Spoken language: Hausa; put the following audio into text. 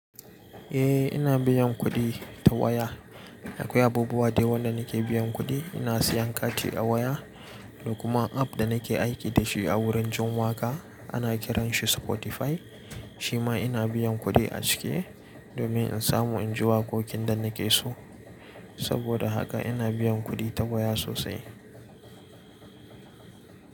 Eh, ina biyan kuɗi ta waya. Akwai abubuwa da yawa da nake biyan kuɗi. Ina siyan kati a waya da kuma app da nake aiki da shi a wurin jin waƙa. Ana kiranshi Spotify. Shi ma ina biyan kuɗi a ciki domin in samu in ji waƙoƙin da nake so. Saboda haka ina biyan kuɗi ta waya sosai.